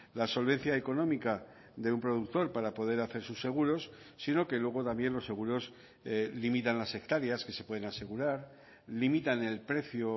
la solvencia económica de un productor para poder hacer sus seguros sino que luego también los seguros limitan las hectáreas que se pueden asegurar limitan el precio